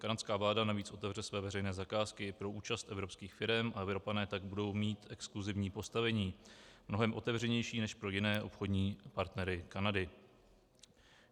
Kanadská vláda navíc otevře své veřejné zakázky pro účast evropských firem a Evropané tak budou mít exkluzivní postavení, mnohem otevřenější než pro jiné obchodní partnery Kanady.